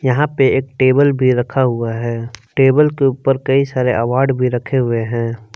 यहां पे एक टेबल पर रखा हुआ है टेबल के ऊपर कई सारे अवार्ड भी रखे हुए हैं।